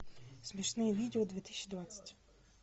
смешные видео две тысячи двадцать